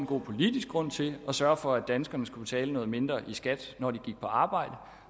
politisk grund til at sørge for danskerne skal betale mindre i skat når de arbejder